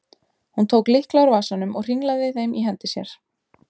Hún tók lykla úr vasanum og hringlaði þeim í hendi sér.